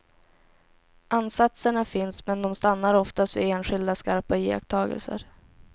Ansatserna finns men de stannar oftast vid enskilda skarpa iakttagelser.